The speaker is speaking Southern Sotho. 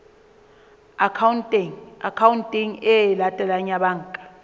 akhaonteng e latelang ya banka